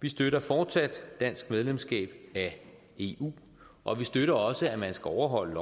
vi støtter fortsat dansk medlemskab af eu og vi støtter også at man skal overholde